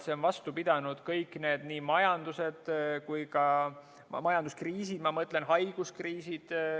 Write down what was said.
See on vastu pidanud kõik need kriisid, nii majanduskriisid kui ka haiguskriisid.